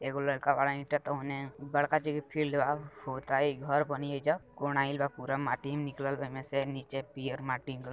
ए गो लड़का बारा ईटा तोहने बड़का चौके फील्ड बा होता है घर बनी एजा कौन आएल बा पूरा माटी एमे निकलल बा एमे से निचे पियर माटी--